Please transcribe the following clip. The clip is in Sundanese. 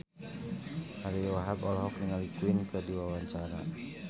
Ariyo Wahab olohok ningali Queen keur diwawancara